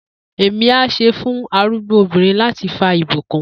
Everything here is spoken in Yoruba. Emi a se fun arugbo obinrin lati fa ibukun